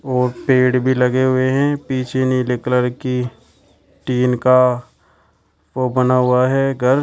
और पेड़ भी लगे हुए हैं पीछे नीले कलर की टीन का वो बना हुआ है घर।